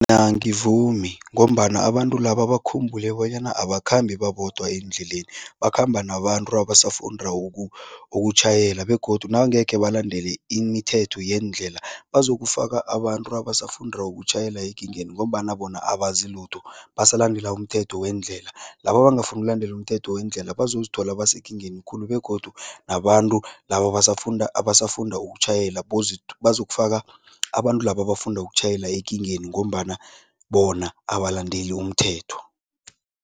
angivumi ngombana abantu laba bakhumbule bonyana abakhambi babodwa eendleleni, bakhamba nabantu abasafunda ukutjhayela begodu nangekhe balandele imithetho yeendlela bazokufaka abantu abasafunda ukutjhayela ekingeni ngombana bona abazi lutho, basalandela umthetho wendlela. Laba abangafuni ulandela umthetho wendlela bazozithola basekingeni khulu begodu nabantu laba abasafunda ukutjhayela bazokufaka abantu laba abafunda ukutjhayela ekingeni ngombana bona abalandeli umthetho.